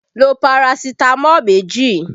Lo Parasitamọ́ọ̀ méjì!